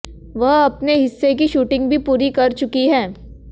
वह अपने हिस्से की शूटिंग भी पूरी कर चुकी हैं